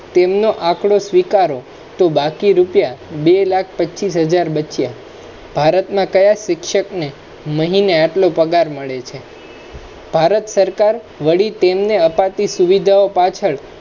તેમનો આંકડો સ્વીકારો તો બાકી રૂપિયા બે લાખ પચીસ હાજર બચ્યા ભારતમા કયા શિક્ષકને મહિને એટલો પગાર મળે છે ભારત સરકાર વળી તેમને અપાતી સુવિધાઓ પાછળ